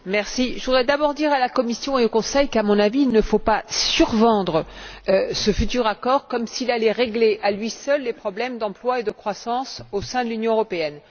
Madame la Présidente, je voudrais d'abord dire à la Commission et au Conseil qu'à mon avis, il ne faut pas survendre ce futur accord comme s'il allait régler, à lui seul, les problèmes d'emploi et de croissance au sein de l'Union européenne.